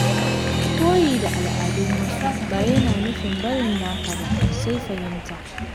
Koyi da al’adun wasu ba yana nufin barin naka ba, sai fahimta.